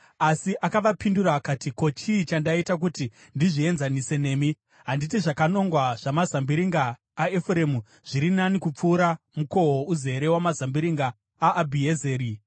Asi akavapindura akati, “Ko, chii chandaita kuti ndizvienzanise nemi? Handiti zvakanongwa zvamazambiringa aEfuremu zviri nani kupfuura mukohwo uzere wamazambiringa aAbhiezeri?